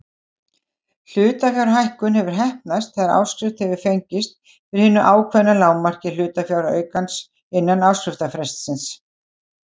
Hlutafjárhækkun hefur heppnast þegar áskrift hefur fengist fyrir hinu ákveðna lágmarki hlutafjáraukans innan áskriftarfrestsins.